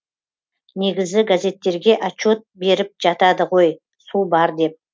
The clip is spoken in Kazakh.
негізі газеттерге отчет беріп жатады ғой су бар деп